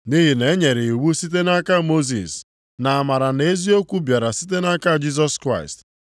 Nʼihi na e nyere iwu site nʼaka Mosis, ma amara na eziokwu bịara site nʼaka Jisọs Kraịst.